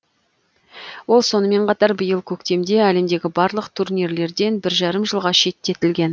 ол сонымен қатар биыл көктемде әлемдегі барлық турнирлерден бір жарым жылға шеттетілген